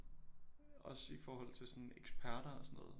Også i forhold til sådan eksperter og sådan noget